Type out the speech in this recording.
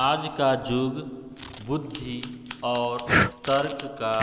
आज का युग बुद्धि और तर्क का